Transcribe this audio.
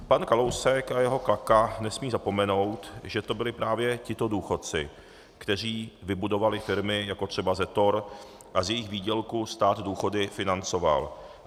Pan Kalousek a jeho klaka nesmí zapomenout, že to byli právě tito důchodci, kteří vybudovali firmy jako třeba Zetor, a z jejich výdělku stát důchody financoval.